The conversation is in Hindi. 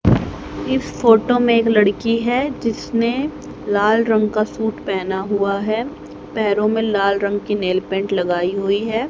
इस फोटो में एक लड़की है जिसने लाल रंग का सूट पहना हुआ है पैरों में लाल रंग की नेल पेंट लगाई हुई है।